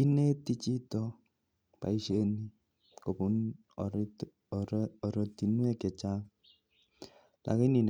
Ineti chito boisyoni kobun ortunwek chechang akomii